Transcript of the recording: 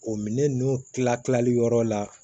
O minɛn nunnu kila kilali yɔrɔ la